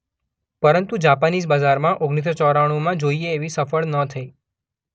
પરંતુ જાપાનીઝ બજારમાં ઓગણીસ સો ચોરાણુમાં જોઈએ એવી સફળ ન થઈ